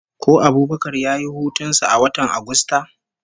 Ko Abubakar ya yi hutun sa a watan Agusta?